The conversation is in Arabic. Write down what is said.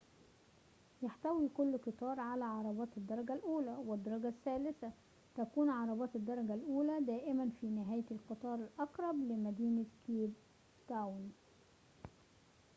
يحتوي كل قطار على عربات الدرجة الأولى والدرجة الثالثة تكون عربات الدرجة الأولى دائماً في نهاية القطار الأقرب لمدينة كيب تاون